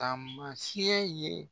taamasiyɛn ye